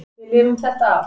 Við lifum þetta af.